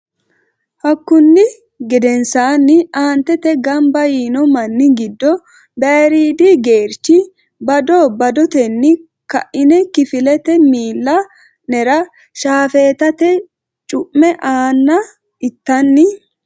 Hakkunni gedensaanni aantete gamba yiino manni giddo bayriidi geerchi bado badotenni ka ine kifilete miilla nera shaafeetate cu me aanna intanni.